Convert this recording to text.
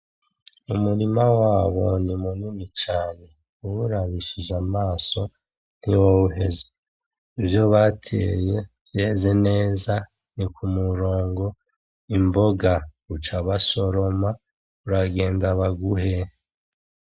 Umurima wabo ni munini cane. Uwurabishije amaso ntiwoheza ivyo bateye vyeze neza ni kumurongo imboga buca basoroma, Uragenda baguhe.